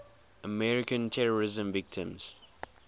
american terrorism victims